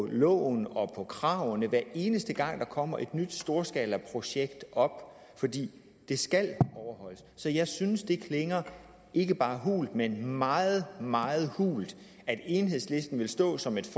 loven og af kravene hver eneste gang der kommer et nyt storskalaprojekt op fordi det skal overholdes så jeg synes at det klinger ikke bare hult men meget meget hult at enhedslisten vil stå som et